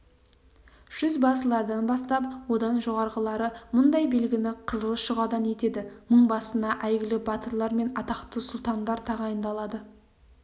жүзбасылардан бастап одан жоғарғылары мұндай белгіні қызыл шұғадан етеді мыңбасына әйгілі батырлар мен атақты сұлтандар тағайындалады